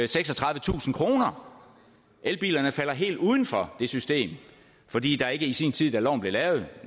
seksogtredivetusind kroner elbilerne falder helt uden for det system fordi der ikke i sin tid da loven blev lavet